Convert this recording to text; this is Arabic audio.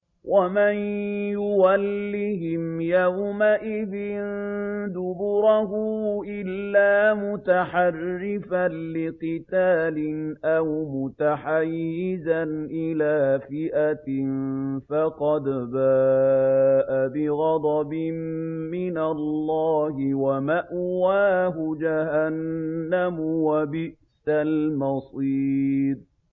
وَمَن يُوَلِّهِمْ يَوْمَئِذٍ دُبُرَهُ إِلَّا مُتَحَرِّفًا لِّقِتَالٍ أَوْ مُتَحَيِّزًا إِلَىٰ فِئَةٍ فَقَدْ بَاءَ بِغَضَبٍ مِّنَ اللَّهِ وَمَأْوَاهُ جَهَنَّمُ ۖ وَبِئْسَ الْمَصِيرُ